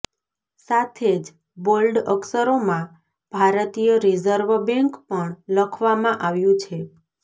સાથે જ બોલ્ડ અક્ષરોમાં ભારતીય રિઝર્વ બેંક પણ લખવામાં આવ્યું છે